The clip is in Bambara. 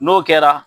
N'o kɛra